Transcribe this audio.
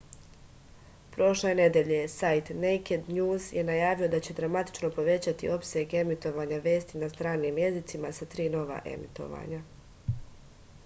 prošle nedelje sajt nejked njuz je najavio da će dramatično povećati opseg emitovanja vesti na stranim jezicima sa tri nova emitovanja